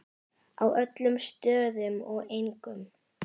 Á öllum stöðum og engum.